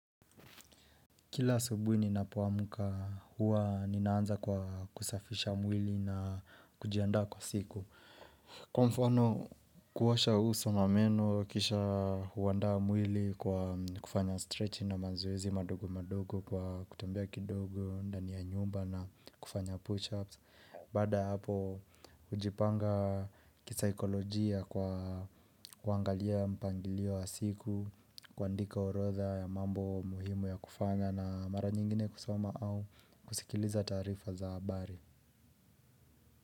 Kila asubui ninapuamuka huwa ninaanza kwa kusafisha mwili na kujiandaa kwa siku. Kwa mfano kuosha uso na meno kisha huandaa mwili kwa kufanya stretch na mazoezi madogo madogo kwa kutembea kidogo, ndani ya nyumba na kufanya push-ups. Baada hapo ujipanga kisaikolojia kwa kuangalia mpangilio wa siku, kuandika urodha ya mambo muhimu ya kufanya na mara nyingine kusoma au kusikiliza taarifa za habari.